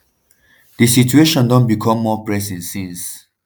di situation don become more pressing since.